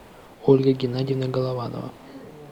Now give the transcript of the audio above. ольга геннадьевна голованова